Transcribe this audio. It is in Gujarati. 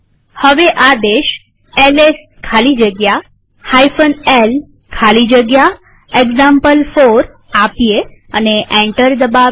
હવે આદેશ એલએસ ખાલી જગ્યા l ખાલી જગ્યા એક્ઝામ્પલ4 આપીએ અને એન્ટર દબાવીએ